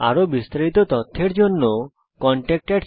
আরো বিস্তারিত জানার জন্য contactspoken tutorialorg তে যোগযোগ করুন